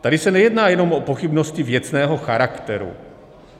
Tady se nejedná jenom o pochybnosti věcného charakteru.